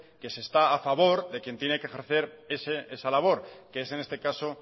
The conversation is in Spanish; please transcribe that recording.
que se está a favor de quién tiene que ejercer esa labor que es en este caso